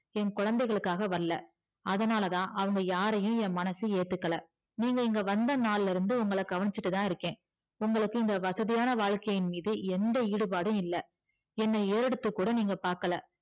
என் குழந்தைகளுக்காக வரல அதனாலத அவங்க யாரையும் என் மனசு ஏத்துக்கல நீங்க இங்க வந்தா நாளுல இருந்து கவனிச்சிட்டு தான் இருக்க உங்களுக்கு இந்த வசதியான வாழ்க்கையின் மீது எந்த ஈடுபாடும் இல்ல என்ன ஏறெடுத்து கூட பாக்கள